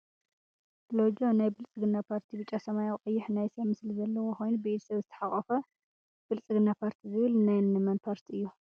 ሎጆ ናይ ብልፅግና ፓርቲ ቢጫ ፣ሰማያዊ ፣ ቀይሕ ናይ ሰብ ምስሊ ዘለዎ ኮይኑ ብኢድ ሰብ ዝተሓቆፈ ብልፅግና ፓርቲ ዝብል ናይንመን ታርቲ እዩ?